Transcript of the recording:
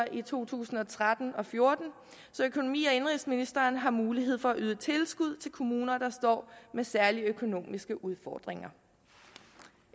i to tusind og tretten og fjorten så økonomi og indenrigsministeren har mulighed for at yde tilskud til kommuner der står med særlige økonomiske udfordringer